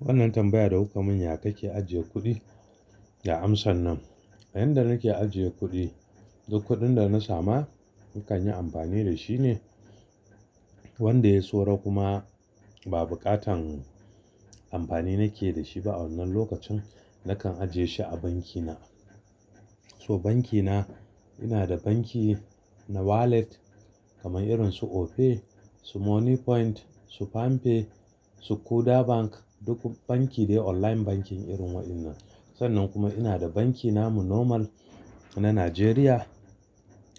Wannan tambaya da wuƙa manya kake ajiye kuɗi? Ya amsa nan, inda nake ajiye kuɗi, duk kuɗin da na sama na kan yi amfani da shi ne, wanda ya tsoro kuma ba buƙatan amfani nake da shi ba a wannan lokacin, nakan ajiye shi a banki na. So banki na, ina da banki na wallet kamar irin su Opay, su Money Point, su Pam pay, su Kuda Bank, duk banki ne online bankin irin wa'yannan. Sannan kuma ina da banki na mu normal na Najeriya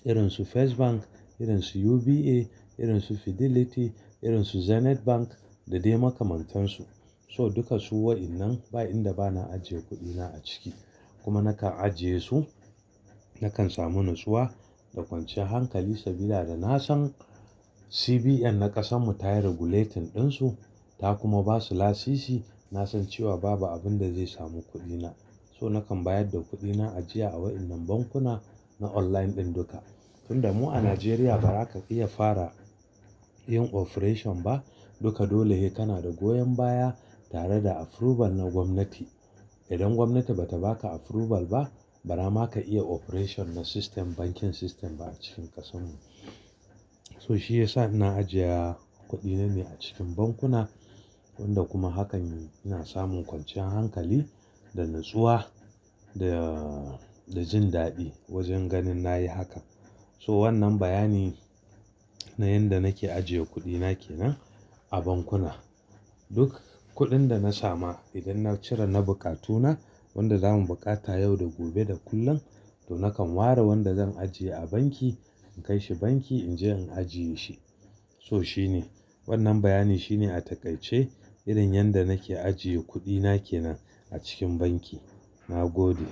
irin su First Bank, irin su UBA, irin su Fidelity, irin su Zenith Bank da dai makamantansu. So dukka su wa'innan ba inda bana ajiye kuɗi na a ciki. Kuma nakan ajiye su, nakan samu natsuwa da kwanciyar hankali saboda da na san CBN na ƙasan mu ta yi regulating ɗin su ta kuma ba su lasisi. Na san cewa babu abin da zai samu kuɗi na. So nakan bayar da kuɗi na ajiya a wa'innan bankuna na online ɗin duka. Tunda mu a Najeriya ba za ka iya fara yin operation ba, duka dole yi kana da goyon baya tare da approval na gwamnati. Idan gwamnati bata ba ka approval ba, bana ma ka iya operation na system, bankin system ba a cikin ƙasan mu. So shi yasa na ajiya kuɗi na ne a cikin bankuna, wanda kuma hakan ina samun kwanciyar hankali da natsuwa da, da jin daɗi wajen ganin na yi hakan. So wannan bayani na yanda nake ajiye kuɗi na ke nan a bankuna. Duk kuɗin da na samu idan na cire na buƙatu na, wanda zamu buƙata yau da gobe da kullum, to nakan ware wanda zan ajiye a banki, in kai shi banki in je in ajiye shi. So shi ne, wannan bayani shi ne a taƙaice irin yanda nake ajiye kuɗi na ke nan a cikin banki. Na gode.